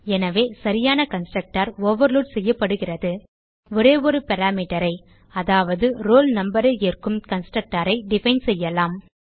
எனவே சரியான constructor overload செய்யப்படுகிறது ஒரே ஒரு parameterஐ அதாவது ரோல் numberஐ ஏற்கும் கன்ஸ்ட்ரக்டர் ஐ டிஃபைன் செய்யலாம்